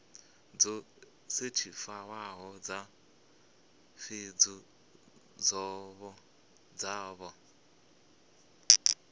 dzo sethifaiwaho dza pfunzo dzavho